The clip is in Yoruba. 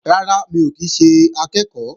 Rárá, mi ò kí ń ṣe akẹ́ẹ̀kọ́